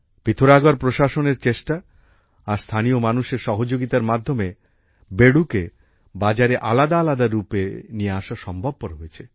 পিথরাগড় প্রশাসন এর চেষ্টা আর স্থানীয় মানুষের সহযোগিতার মাধ্যমে বেডুকে বাজারে আলাদা আলাদা রুপে নিয়ে আসা সম্ভবপর হয়েছে